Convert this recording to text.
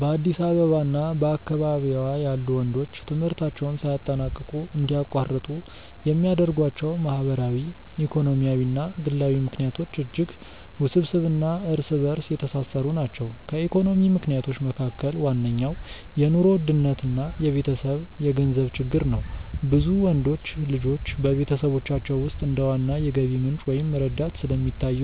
በአዲስ አበባ እና በአካባቢዋ ያሉ ወንዶች ትምህርታቸውን ሳያጠናቅቁ እንዲያቋርጡ የሚያደርጓቸው ማህበራዊ፣ ኢኮኖሚያዊ እና ግላዊ ምክንያቶች እጅግ ውስብስብ እና እርስ በእርስ የተሳሰሩ ናቸው። ከኢኮኖሚ ምክንያቶች መካከል ዋነኛው የኑሮ ውድነት እና የቤተሰብ የገንዘብ ችግር ነው። ብዙ ወንዶች ልጆች በቤተሰቦቻቸው ውስጥ እንደ ዋና የገቢ ምንጭ ወይም ረዳት ስለሚታዩ፣